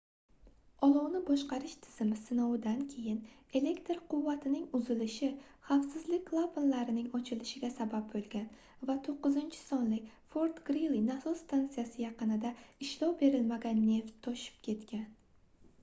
olovni boshqarish tizimi sinovidan keyin elektr quvvatining uzilishi xavfsizlik klapanlarning ochilishiga sabab boʻlgan va 9-sonli fort-grili nasos stansiyasi yaqinida ishlov berilmagan neft toshib ketgan